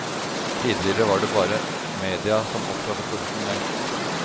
Tidligere var det bare media som opptrådde profesjonelt.